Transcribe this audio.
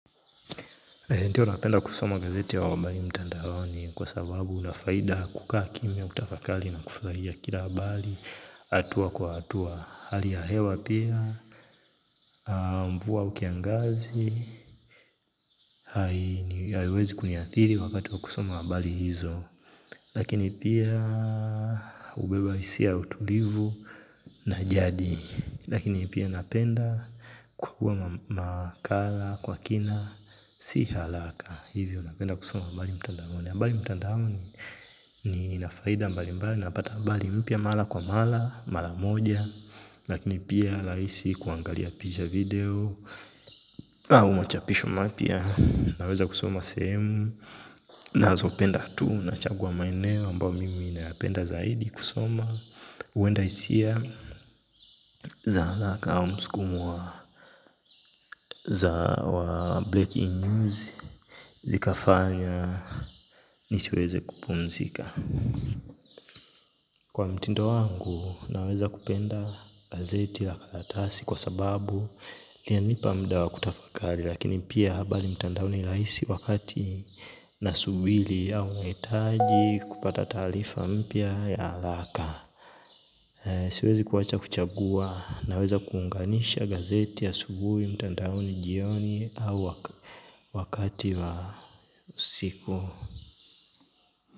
Ndiyo ninapenda kusoma gazeti ya wabali mtandaoni kwa sababu unafaida kukaa kimya kutafakari na kufurahia kila habari hatua kwa hatua hali ya hewa pia. Mvua au kiangazi haiwezi kuniathiri wakati wa kusoma habari hizo. Lakini pia hubeba hisia ya utulivu na jadi. Lakini pia napenda kukuwa makala kwa kina. Si haraka hivyo napenda kusoma habari mtandaoni habari lmtandaoni ni inafaida mbali mbali. Napata habari mpya mara kwa mara. Mara moja lakini pia rahisi kuangalia picha video au machapisho mapya. Naweza kusoma sehemu ninazopenda tu nachagua maeneo ambayo mimi nayapenda zaidi kusoma huenda hisia za hrlaka au msukumo wa Breaking News Zikafanya nisiweze kupumzika. Kwa mtindo wangu naweza kupenda gazeti la katatasi kwa sababu linanipa muda wa kutafakari. Lakini pia habari mtandaoni ni rahisi wakati nasubiri au hahitaji kupata taarifa mpya ya haraka. Siwezi kuwacha kuchagua naweza kuunganisha gazeti ya asubuhi mtandaoni jioni au wakati wa usiku.